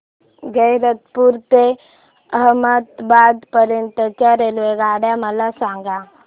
गैरतपुर ते अहमदाबाद पर्यंत च्या रेल्वेगाड्या मला सांगा